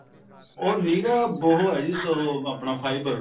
ਉਹ ਨਿਰਾ ਉਹ ਹੈ ਜੀ ਉਹ ਹੈ ਆਪਣਾ fiber